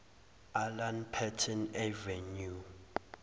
alan paton avenue